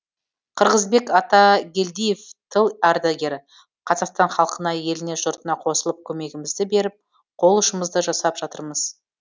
қырғызбек атагелдиев тыл ардагері қазақстан халқына еліне жұртына қосылып көмегімізді беріп қол ұшымызды жасап жатырмыз